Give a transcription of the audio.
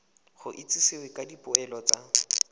go itsisiwe ka dipoelo tsa